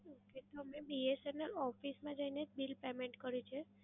okay તો મે BSNL office માં જઈને જ bill payment કર્યું છે.